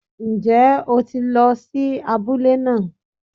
Ń jẹ́ o ti lo sí abúlé náà